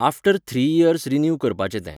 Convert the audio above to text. after three years renew करपाचें तें